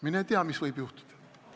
Mine tea, mis võib juhtuda.